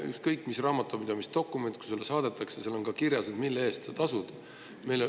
Ükskõik mis raamatupidamisdokumendid saadetakse, reeglina on seal kirjas, mille eest sa tasud.